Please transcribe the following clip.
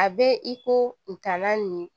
A bɛ i ko ntaala nin